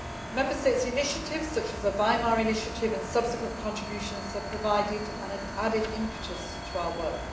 Member States' initiatives, such as the Weimar initiative and subsequent contributions, have provided an added impetus to work.